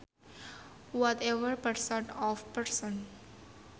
Whatever person or persons